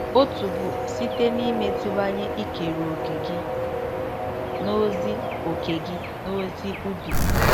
Otu bụ site n’imeziwanye ikere òkè gị n’ozi òkè gị n’ozi ubi.